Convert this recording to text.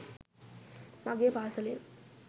මගේ පාසලෙන්.